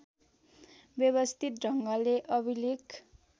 व्यवस्थित ढङ्गले अभिलेख